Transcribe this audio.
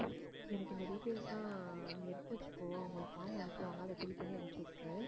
எனக்கு இந்த details எல்லாம் நீ எடுத்து வச்சுக்கோ அவங்க form அனுப்புவாங்க அதை fill பண்ணி அனுப்பிச்சு விட்டுரு